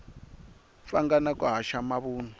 pfanga na ku haxa mavunwa